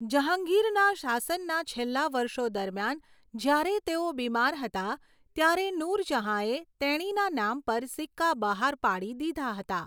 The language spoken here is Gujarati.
જહાંગીરના શાસનના છેલ્લા વર્ષો દરમિયાન જ્યારે તેઓ બીમાર હતા, ત્યારે નૂરજહાંએ તેણીના નામ પર સિક્કા બહાર પાડી દીધા હતા.